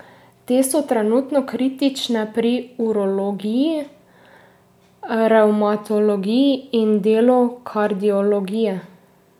Te so trenutno kritične pri urologiji, revmatologiji in delu kardiologije.